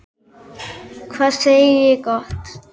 Hvað segi ég gott?